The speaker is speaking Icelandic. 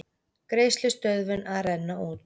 Greiðslustöðvun að renna út